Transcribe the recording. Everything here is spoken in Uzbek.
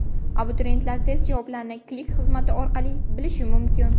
Abituriyentlar test javoblarini Click xizmati orqali bilishi mumkin.